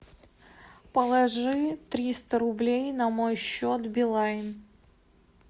положи триста рублей на мой счет билайн